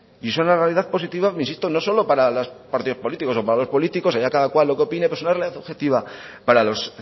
y es una realidad positiva insisto no solo para los partidos políticos o para los políticos haya cada cual lo que opine pero es una realidad objetiva para los